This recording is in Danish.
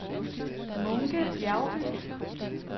Munke Bjergby